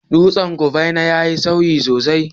Dutsen kufena yayi sanyi sosai